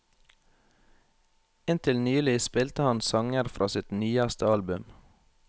Inntil nylig spilte han sanger fra sitt nyeste album.